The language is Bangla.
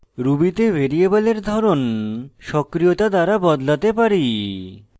ruby তে ভ্যারিয়েবলের ধরন সক্রিয়তা দ্বারা বদলাতে পারি